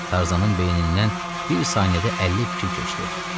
Tarzanın beynindən bir saniyədə 50 fikir keçdi.